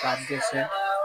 Ka dɛsɛ